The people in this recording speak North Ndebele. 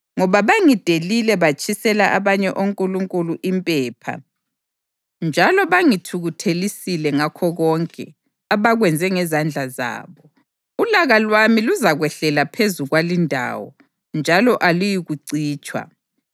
Ngoba bangidelile batshisela abanye onkulunkulu impepha njalo bangithukuthelisile ngakho konke abakwenze ngezandla zabo, ulaka lwami luzakwehlela phezu kwalindawo njalo aluyikucitshwa.’